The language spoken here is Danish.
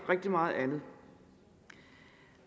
rigtig meget andet